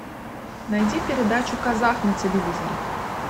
найди передачу казах на телевизоре